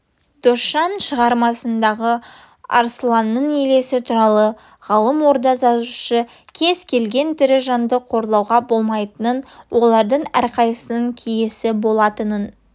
досжан шығармасындағы арсланның елесі туралы ғалым орда жазушы кез келген тірі жанды қорлауға болмайтынын олардың әрқайсысының киесі болатынын